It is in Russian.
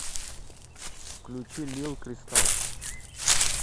включи лил кристалл